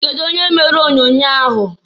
Kedu onye mere onyoonyoo ahụ?